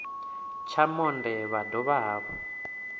tsha monde vha dovha hafhu